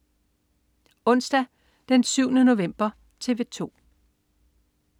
Onsdag den 7. november - TV 2: